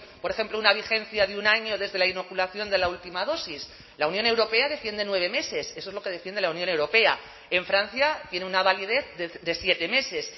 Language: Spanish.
por ejemplo una vigencia de un año desde la inoculación de la última dosis la unión europea defiende nueve meses eso es lo que defiende la unión europea en francia tiene una validez de siete meses